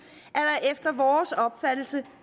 er vores opfattelse